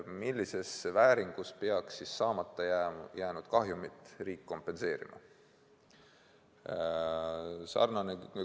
Millise summaga peaks siis riik saamata jäänud kahjumit kompenseerima?